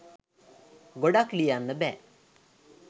ගොඩක් ලියන්න බෑ